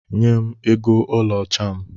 Nyem ego ọlaọcha m!